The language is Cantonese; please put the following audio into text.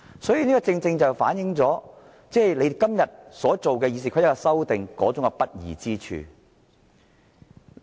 所以，這正正反映了他們今天修訂《議事規則》的不義之處。